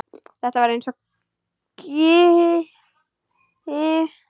Þetta var eins og kynlíf.